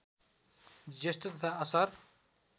जेष्ठ तथा असार